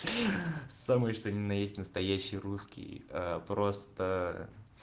ха самый что ни на есть настоящий русский просто